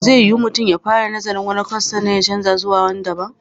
Zai yiwu mutum ya fara nazarin wani kwas sannan ya canza zuwa wani daban.